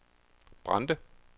Brande